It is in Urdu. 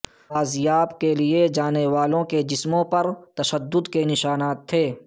بازیاب کیئے جانے والوں کے جسموں پر تشدد کے نشانات تھے